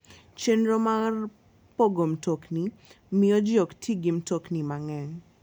Chenro mar pogo mtokni miyo ji ok ti gi mtokni mang'eny.